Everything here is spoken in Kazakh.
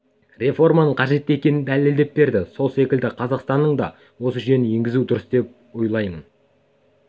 реформаның қажетті екенін дәлелдеп берді сол секілді қазақстанның да осы жүйені енгізуі дұрыс деп ойлаймын